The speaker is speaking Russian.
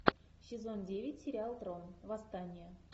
сезон девять сериал трон восстание